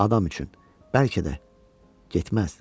Adam üçün bəlkə də getməz.